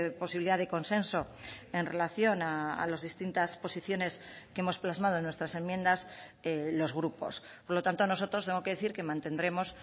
posibilidad de consenso en relación a las distintas posiciones que hemos plasmado en nuestras enmiendas los grupos por lo tanto nosotros tengo que decir que mantendremos